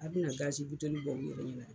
A bɛna na gasi bitɔli bɔ nin yɔrɔnin na.